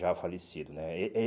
Já falecido, né?